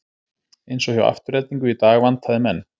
Eins og hjá Aftureldingu í dag vantaði menn.